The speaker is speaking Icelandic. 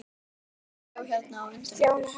Þannig að fólkið sem bjó hérna á undan ykkur.